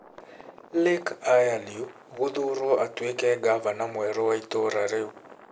Lake Ayalew gũthuurwo atuĩke gavana mwerũ wa itora riu